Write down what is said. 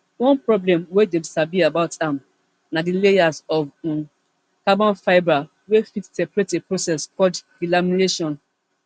one problem wey dem sabi about am na di layers of um carbon fibre wey fit separate a process called delamination